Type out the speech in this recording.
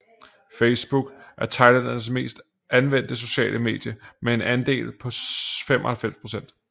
Facebook er thailændernes mest anvendte sociale medie med en andel på 95 procent